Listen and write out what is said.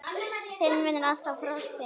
Þinn vinnur alltaf, Frosti.